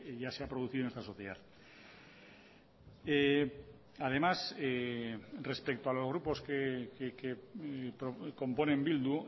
ya se ha producido en esta sociedad además respecto a los grupos que componen bildu